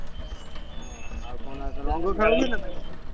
ଆଉ କଣ ରଙ୍ଗ ଖେଳ,